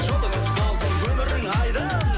жолыңыз болсын өмірің айдын